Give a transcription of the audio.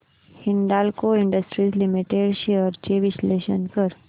Hindalco industries limited shares चे विश्लेषण कर